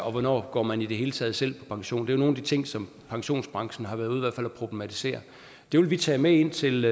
og hvornår går man i det hele taget selv på pension det nogle af de ting som pensionsbranchen har været ude og problematisere det vil vi tage med ind til